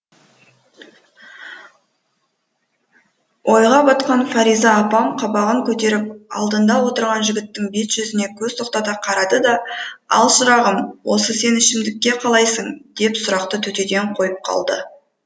ойға батқан фариза апам қабағын көтеріп алдында отырған жігіттің бет жүзіне көз тоқтата қарады да ал шырағым осы сен ішімдікке қалайсың деп сұрақты төтеден қойып қалды